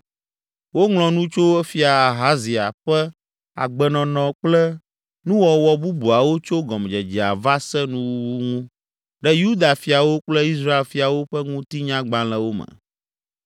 Woŋlɔ nu tso Fia Ahazia ƒe agbenɔnɔ kple nuwɔwɔ bubuawo tso gɔmedzedzea va se nuwuwu ŋu ɖe Yuda fiawo kple Israel fiawo ƒe ŋutinyagbalẽwo me.